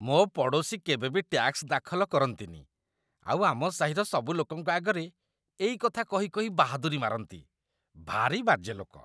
ମୋ ପଡ଼ୋଶୀ କେବେ ବି ଟ୍ୟାକ୍ସ ଦାଖଲ କରନ୍ତିନି ଆଉ ଆମ ସାହିର ସବୁ ଲୋକଙ୍କ ଆଗରେ ଏଇ କଥା କହି କହି ବାହାଦୁରି ମାରନ୍ତି । ଭାରି ବାଜେ ଲୋକ ।